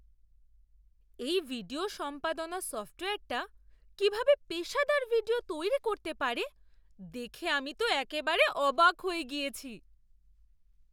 এই ভিডিও সম্পাদনা সফ্টওয়্যারটা কীভাবে পেশাদার ভিডিও তৈরি করতে পারে দেখে আমি তো একেবারে অবাক হয়ে গিয়েছি।